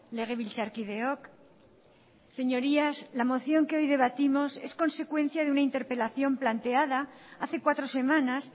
legebiltzarkideok señorías la moción que hoy debatimos es consecuencia de una interpelación planteada hace cuatro semanas